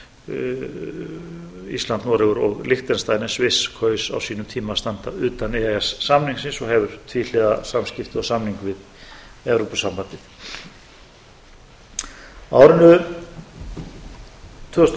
samningnum eru ísland noregur og liechtenstein en sviss kaus á sínum tíma að standa utan e e s samningsins og hefur tvíhliða samskipti og samning við evrópusambandið á árinu tvö þúsund og